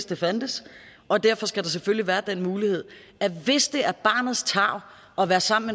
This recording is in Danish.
det fandtes og derfor skal der selvfølgelig være den mulighed at hvis det er barnets tarv at være sammen